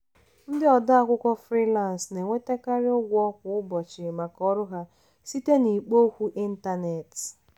ndị ode akwụkwọ frilansị na-enwetakarị ụgwọ kwa ụbọchị maka ọrụ ha site n'ikpo okwu ịntanetị.